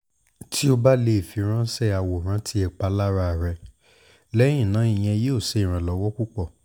ti o ba le firanṣẹ aworan ti ipalara rẹ lẹhinna iyẹn yoo ṣe iranlọwọ pupọ